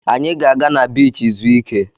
Anyị ga-aga na biichi zuo ike.